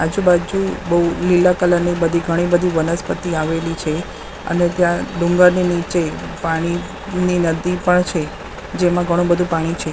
આજુ બાજુ બૌ લીલા કલર ની બધી ઘણી બધી વનસ્પતિ આવેલી છે અને ત્યાં ડુંગરની નીચે પાણીની નદી પણ છે જેમાં ઘણું બધું પાણી છે.